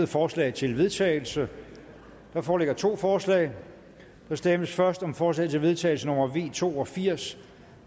forslag til vedtagelse der foreligger to forslag der stemmes først om forslag til vedtagelse nummer v to og firs